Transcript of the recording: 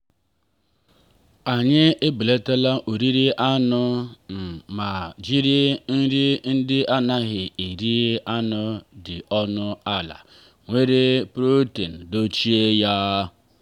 anyị ebelatala oriri anụ um ma jiri nri ndị anaghị eri anụ dị ọnụ ala nwere protein dochie ya.